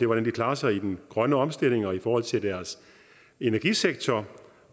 hvordan de klarer sig i den grønne omstilling og i forhold til deres energisektor